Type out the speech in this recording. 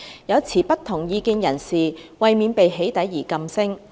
有持不同意見人士為免被起底而噤聲。